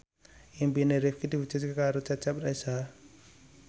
impine Rifqi diwujudke karo Cecep Reza